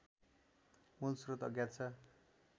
मूलस्रोत अज्ञात छ